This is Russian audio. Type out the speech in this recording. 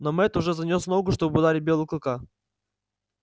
но мэтт уже занёс ногу чтобы ударить белого клыка